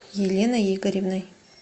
еленой игоревной